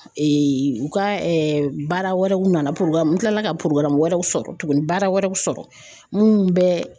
u ka baara wɛrɛw nana n kilala ka wɛrɛw sɔrɔ tuguni baara wɛrɛw sɔrɔ minnu bɛ